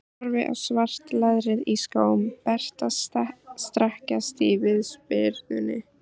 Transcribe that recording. Horfi á svart leðrið í skóm Berta strekkjast í viðspyrnunni.